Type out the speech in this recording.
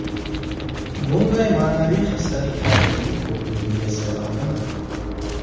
Bunday ma’naviy hastaliklarning ko‘pligiga sabab nima?